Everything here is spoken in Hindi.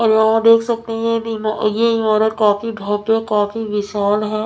और यहाँ देख सकते हैं ये इमा ये इमारत काफी भव्य काफी विशाल है।